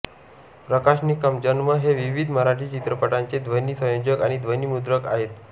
प्रकाश निकम जन्म हे विवीध मराठी चित्रपटांचे ध्वनी संयोजक आणि ध्वनी मुद्रक आहेत